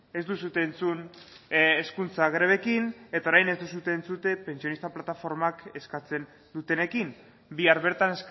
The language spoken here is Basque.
ez duzue entzun hezkuntza grebekin eta orain ez duzue entzuten pentsionista plataformak eskatzen dutenekin bihar bertan